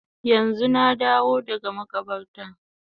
Yanzu na dawo daga makabarta